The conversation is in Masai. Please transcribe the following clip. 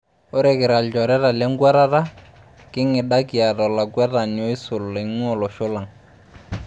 Ore kira ilchoreta lenkuatata, king'ida kiata olakwetani oisul eing'uaa olosho lang.